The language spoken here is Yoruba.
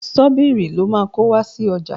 Ṣọ́bìrì lo máa kó wá sí ọjà.